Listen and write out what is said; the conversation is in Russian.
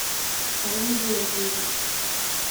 карен георгиевич